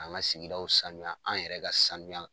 An ka sigidaw sanuya an yɛrɛ ka sanuya.